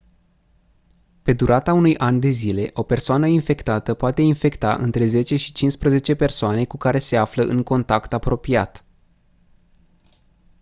pe durata unui an de zile o persoană infectată poate infecta între 10 și 15 persoane cu care se află în contact apropiat